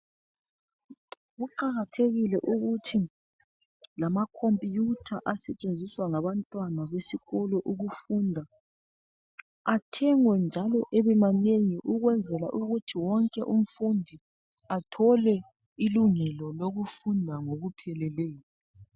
Kuqakathekile ukuthi amakhomputha asetshenziswa ngabantwana esikolo athengwe ukwenzela ukuthi wonke umnfundi athole ilungelo kithi afunde ngokupheleleyo.